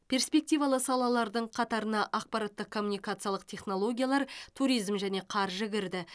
перспективалы салалардың қатарына ақпараттық коммуникациялық технологиялар туризм және қаржы кірді